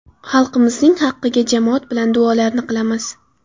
Xalqimizning haqqiga jamoat bilan duolarni qilamiz.